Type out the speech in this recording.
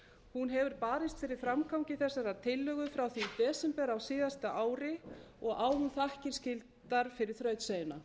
hún hefur barist fyrir framgangi þessarar tillögu frá því desember á síðasta ári og á hún þakkir skildar fyrir þrautseigjuna